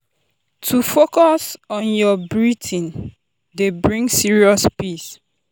to focus on your breathing dey bring serious peace.